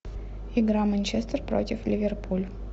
игра манчестер против ливерпуль